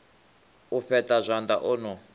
u fheṱa zwanḓa o no